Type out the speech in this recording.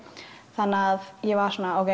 þannig að ég var svona